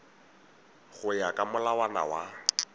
go ya ka molawana wa